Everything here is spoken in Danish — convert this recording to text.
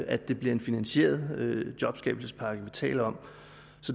at det er en finansieret jobskabelsespakke vi taler om